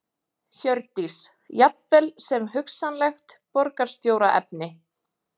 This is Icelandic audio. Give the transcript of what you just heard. Hjördís: Jafnvel sem hugsanlegt borgarstjóraefni?